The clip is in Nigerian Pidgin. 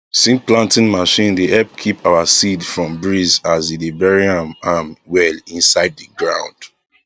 seed planting machine dey help keep our seed from breeze as e dey bury am am well inside the ground